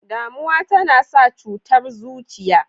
Damuwa tana sa cutar zuciya.